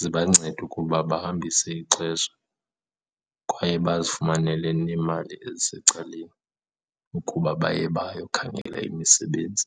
zibancede ukuba bahambise ixesha kwaye bazifumanele neemali ezisecaleni ukuba baye bayokhangela imisebenzi.